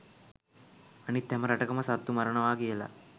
අනිත් හැම රටකම සත්තු මරණවා කියලා